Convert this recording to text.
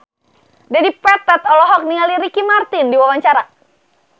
Dedi Petet olohok ningali Ricky Martin keur diwawancara